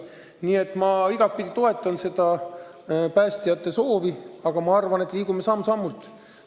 Nii et ma igatpidi toetan seda päästjate soovi, aga me liigume edasi samm-sammult.